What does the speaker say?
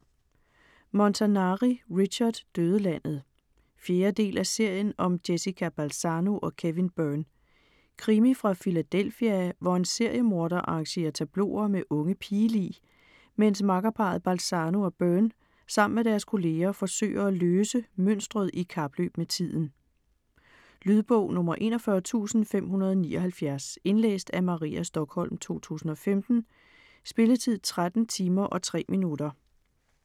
Montanari, Richard: Dødelandet 4. del af serien om Jessica Balzano & Kevin Byrne. Krimi fra Philadelphia, hvor en seriemorder arrangerer tableauer med unge pigelig, mens makkerparret Balanzo og Byrne sammen med deres kolleger forsøger at løse mønstret i kapløb med tiden. Lydbog 41579 Indlæst af Maria Stokholm, 2015. Spilletid: 13 timer, 3 minutter.